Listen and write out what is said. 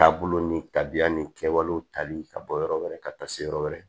Taabolo ni tabiya ni kɛwalew tali ka bɔ yɔrɔ wɛrɛ ka taa se yɔrɔ wɛrɛ